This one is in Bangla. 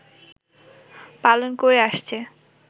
পালন করে আসছে